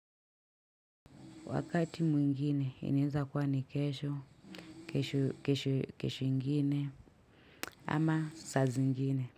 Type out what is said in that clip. Wakati mwingine inaeza kuwa ni kesho, kesho ingine ama saa zingine.